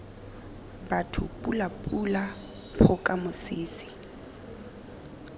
batho pula pula phoka mosese